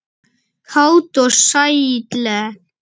Kát og sælleg.